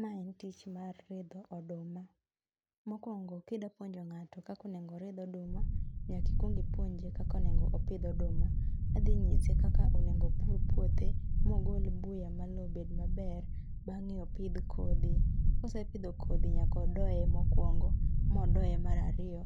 Mae en tich mar ridho oduma. mokwongo kidapuonjo ng'ato kaka onego oridh oduma, nyaka ikwong ipuonje kaka onego opidh oduma. adhi nyise kaka onego opur puothe mogol buya ma lowo obed maber, bang'e opidh kodhi. Kosepidho kodhi, nyaka odoye mokwongo, modoye marariyo,